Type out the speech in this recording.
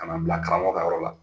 Kana bila karamɔgɔ ka yɔrɔ la.